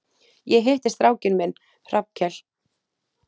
Ég hitti strákinn minn, Hrafnkel.